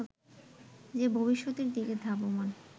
যে ভবিষ্যতের দিকে ধাবমান